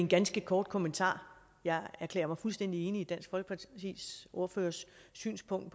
ganske kort kommentar jeg erklærer mig fuldstændig enig i dansk folkepartis ordførers synspunkt